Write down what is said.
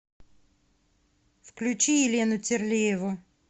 включи елену терлееву